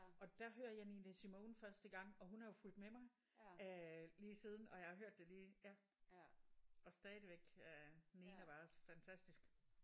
Og der hører jeg Nina Simone første gang og hun er jo fulgt med mig øh lige siden og jeg har hørt det lige ja og stadigvæk øh Nina var også fantastisk